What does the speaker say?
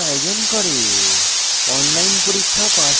কর্মশালার আয়োজন করে